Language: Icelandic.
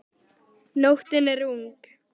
Nóttin er ung